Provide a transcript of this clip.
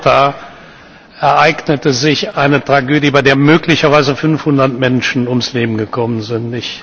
Vor Malta ereignete sich eine Tragödie, bei der möglicherweise 500 Menschen ums Leben gekommen sind.